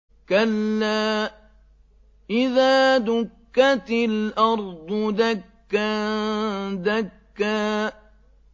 كَلَّا إِذَا دُكَّتِ الْأَرْضُ دَكًّا دَكًّا